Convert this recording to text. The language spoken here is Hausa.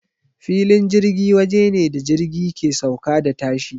Filin jirgi waje ne da jirgi ke sauka da tashi.